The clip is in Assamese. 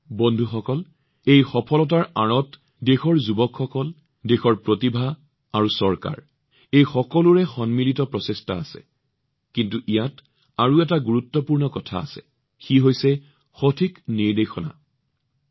বন্ধুসকল দেশৰ এই সফলতাৰ আঁৰত দেশৰ যুৱ শক্তি প্ৰতিভা আৰু দেশৰ চৰকাৰ সকলোৱে সমূহীয়াকৈ প্ৰচেষ্টা চলাই আছে সকলোৱে অৱদান আগবঢ়াই আছে কিন্তু ইয়াত আৰু এটা গুৰুত্বপূৰ্ণ কথা আছে অৰ্থাৎ ষ্টাৰ্টআপ পৃথিৱীত সঠিক পৰামৰ্শ অৰ্থাৎ সঠিক নিৰ্দেশনা